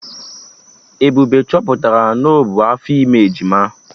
Ebube chọpụtara na o bu afọ ime ejima